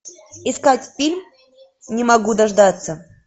искать фильм не могу дождаться